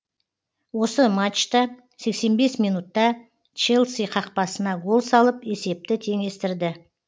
осы матчта сексен бес минутта челси қақпасына гол салып есепті теңестірді